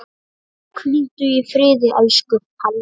Hvíldu í friði, elsku Halli.